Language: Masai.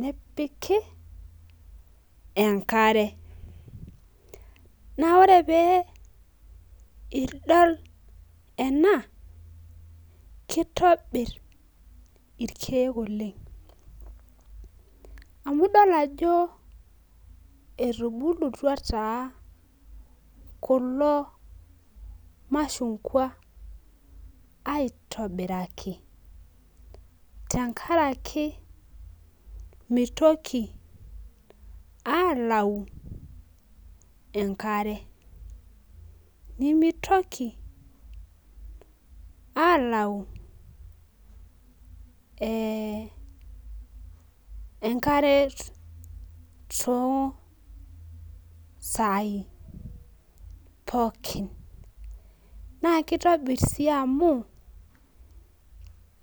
nepiki enkare na ore peeidol ena kitobir irkiek oleng amu idol ajo etubulutua kulo mashungwa aitobiraki tenkaraki mitoki alau enkare nimitoki alau enkare to sai pooki nakitonir si amu